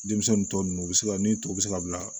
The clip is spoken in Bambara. Denmisɛnnin tɔ nunnu u bɛ se ka ni tɔw bɛ se ka bila